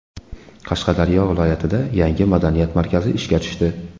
Qashqadaryo viloyatida yangi madaniyat markazi ishga tushdi.